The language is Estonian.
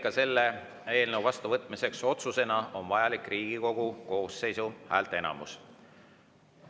Ka selle eelnõu vastuvõtmiseks otsusena on vajalik Riigikogu koosseisu häälteenamus.